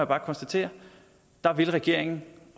bare konstatere der vil regeringen